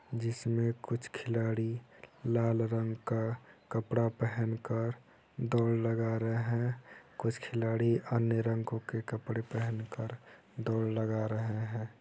जिसमें कुछ खिलाड़ी लाल रंग का कपड़ा पहन कर दौड़ लगा रहे हैं। कुछ खिलाड़ी अन्य रंगो के कपड़े पहनकर दौड़ लगा रहे हैं।